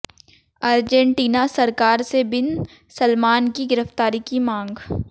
Argentina सरकार से bin Salman की गिरफ़्तारी की मांग